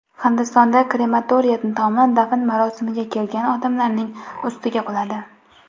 Hindistonda krematoriya tomi dafn marosimiga kelgan odamlarning ustiga quladi.